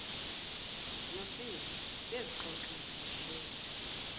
nosindi bezixoxela behleka